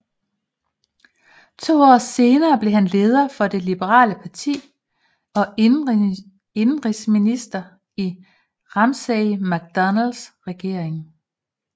To år senere blev han leder for det liberale parti og indenrigsminister i Ramsay MacDonalds regering